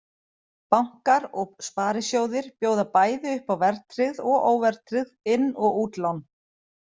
Bankar og sparisjóðir bjóða bæði upp á verðtryggð og óverðtryggð inn- og útlán.